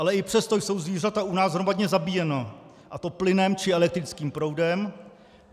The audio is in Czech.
Ale i přesto jsou zvířata u nás hromadně zabíjena, a to plynem či elektrickým proudem.